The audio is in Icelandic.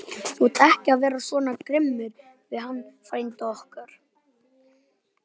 Þú átt ekki vera svona grimmur við hann frænda okkar!